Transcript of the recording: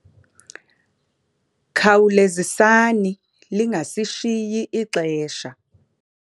Khawulezisani lingasishiyi ixesha.